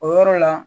O yɔrɔ la